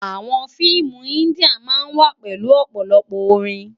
Àwòn fiimú indiá má n wá pèlú òpòlòpò órin